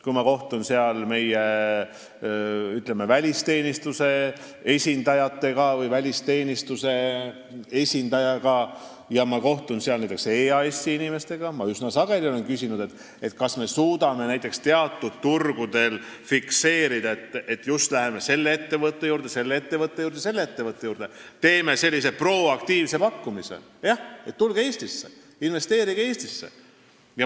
Kui ma kohtun seal meie välisteenistuse esindajatega ja ka näiteks EAS-i inimestega, siis ma olen üsna sageli küsinud, kas me suudame teatud turgudel fikseerida seda, et me läheme just selle või teise ettevõtte juurde, et teha selline proaktiivne pakkumine – jah, tulge Eestisse, investeerige Eestisse!